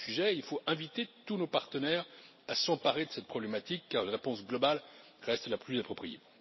Il faut inviter tous nos partenaires à s'emparer de cette problématique car une réponse globale reste la plus appropriée.